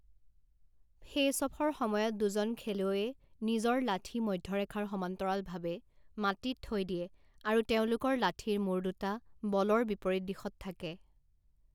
Face অফৰ সময়ত দুজন খেলুৱৈয়ে নিজৰ লাঠি মধ্য ৰেখাৰ সমান্তৰালভাৱে মাটিত থৈ দিয়ে আৰু তেওঁলোকৰ লাঠিৰ মূৰ দুটা বলৰ বিপৰীত দিশত থাকে।